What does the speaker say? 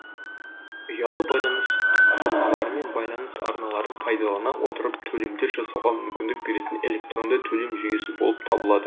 ұялы байланыс құрылғылары мен байланыс арналарын пайдалана отырып төлемдер жасауға мүмкіндік беретін электронды төлем жүйесі болып табылады